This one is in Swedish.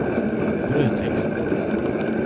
brödtext